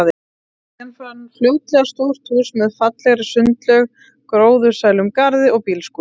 Ég fann fljótlega stórt hús með fallegri sundlaug, gróðursælum garði og bílskúr.